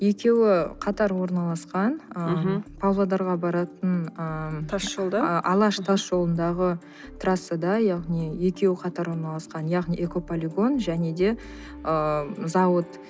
екеуі қатар орналасқан мхм ыыы павлодарға баратын ы тас жолда ы алаш тас жолындағы трассада яғни екеуі қатар орналасқан яғни экополигон және де ыыы зауыт